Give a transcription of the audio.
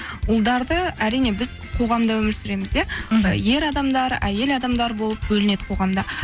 ұлдарды әрине біз қоғамда өмір сүреміз иә мхм ер адамдар әйел адамдар болып бөлінеді қоғамда